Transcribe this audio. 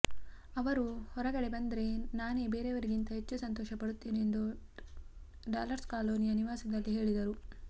ಅವರು ಹೊರಗಡೆ ಬಂದ್ರೆ ನಾನೇ ಬೇರೆಯವರಿಗಿಂತ ಹೆಚ್ಚು ಸಂತೋಷ ಪಡುತ್ತೇನೆ ಎಂದು ಡಾಲರ್ಸ್ ಕಾಲೋನಿಯ ನಿವಾಸದಲ್ಲಿ ಹೇಳಿದರು